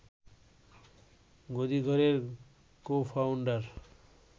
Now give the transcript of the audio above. গদিঘরের co-founder